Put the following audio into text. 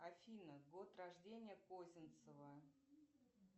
афина год рождения козинцева